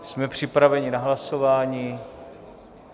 Jsme připraveni na hlasování?